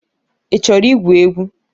I chọrọ igwu egwu?